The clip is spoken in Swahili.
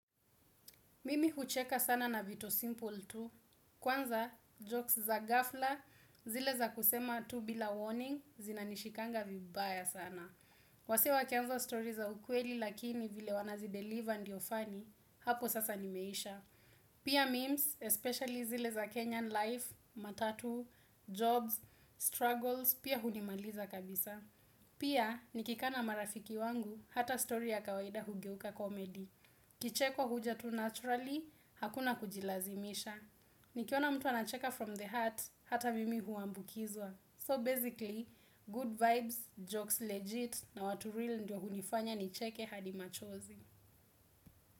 Mimi hucheka sana na vitu simple tu, kwanza jokes za ghafla zile za kusema tu bila warning zinanishikanga vibaya sana. Wasee wakianza story za ukweli lakini vile wanazideliver ndio funny, hapo sasa nimeisha. Pia memes, especially zile za Kenyan life, matatu, jobs, struggles, pia hunimaliza kabisa. Pia nikikaa na marafiki wangu hata story ya kawaida hugeuka komedi. Kicheko huja tu naturally, hakuna kujilazimisha. Nikiona mtu anacheka from the heart, hata mimi huambukizwa So basically, good vibes, jokes legit na watu real ndio hunifanya nicheke hadi machozi.